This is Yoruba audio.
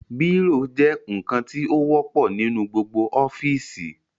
Bírò jẹ́ ǹkan tí ó wọ́pọ̀ nínú gbogbo ọ́fìsì